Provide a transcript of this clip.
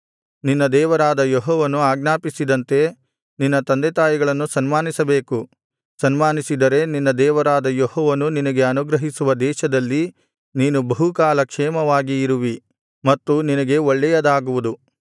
ನಿನ್ನ ದೇವರಾದ ಯೆಹೋವನು ಆಜ್ಞಾಪಿಸಿದಂತೆ ನಿನ್ನ ತಂದೆತಾಯಿಗಳನ್ನು ಸನ್ಮಾನಿಸಬೇಕು ಸನ್ಮಾನಿಸಿದರೆ ನಿನ್ನ ದೇವರಾದ ಯೆಹೋವನು ನಿನಗೆ ಅನುಗ್ರಹಿಸುವ ದೇಶದಲ್ಲಿ ನೀನು ಬಹುಕಾಲ ಕ್ಷೇಮವಾಗಿ ಇರುವಿ ಮತ್ತು ನಿನಗೆ ಒಳ್ಳೆಯದಾಗುವುದು